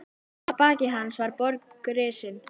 Að baki hans var borg risin.